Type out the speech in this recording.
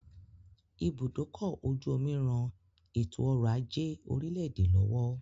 Ibùdókọ̀-ojú-omi ran ètò-ọrọ̀-ajé orílẹ̀-èdè lọ́wọ́